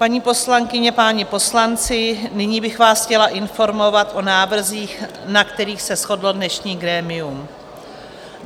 Paní poslankyně, páni poslanci, nyní bych vás chtěla informovat o návrzích, na kterých se shodlo dnešní grémium.